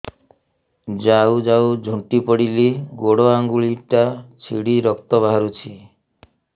ଯାଉ ଯାଉ ଝୁଣ୍ଟି ପଡ଼ିଲି ଗୋଡ଼ ଆଂଗୁଳିଟା ଛିଣ୍ଡି ରକ୍ତ ବାହାରୁଚି